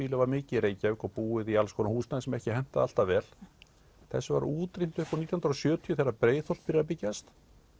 var mikið í Reykjavík og búið í alls konar húsnæði sem ekki hentaði alltaf vel þessu var útrýmt um nítján hundruð og sjötíu þegar Breiðholt byrjar að byggjast